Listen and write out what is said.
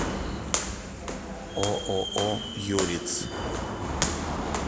ооо юриц